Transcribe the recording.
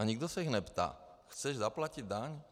A nikdo se jich neptá: Chceš zaplatit daň?